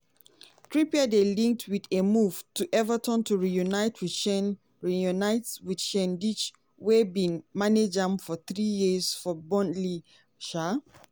trippier dey linked wit a move to everton to reunite wit sean reunite wit sean wey bin manage am for three years for burnley. um